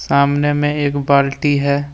सामने में एक बाल्टी है।